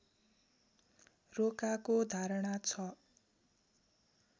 रोकाको धारणा छ